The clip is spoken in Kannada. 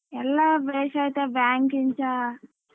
ಎಲ್ಲ ಬೇಷ್ ಐತೆ bank ಇಂದಾ.